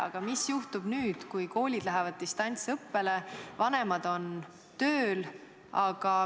Aga mis juhtub nüüd, kui koolid lähevad distantsõppele ja vanemad on tööl?